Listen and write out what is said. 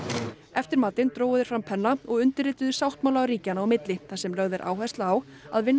eftir matinn drógu þeir fram penna og undirrituðu sáttmála ríkjanna á milli þar sem lögð er áhersla á að vinna